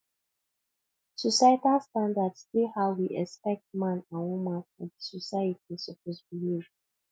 societal standards dey how we expect man and woman for di society suppose behave